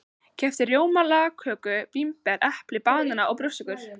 Keypti rjóma, lagköku, vínber, epli, banana og brjóstsykur.